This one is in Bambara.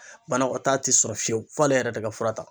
Banakɔtaa tɛ sɔrɔ fiyewu f'ale yɛrɛ de ka fura ta.